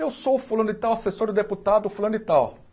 Eu sou fulano de tal, assessor do deputado, fulano de tal.